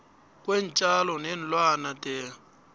kweentjalo neenlwana the